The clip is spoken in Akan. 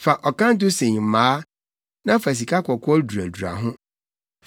Fa ɔkanto sen mmaa, na fa sikakɔkɔɔ duradura ho.